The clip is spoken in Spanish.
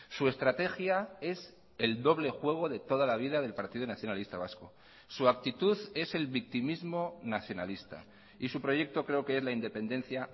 su estrategia es el doble juego de toda la vida del partido nacionalista vasco su actitud es el victimismo nacionalista y su proyecto creo que es la independencia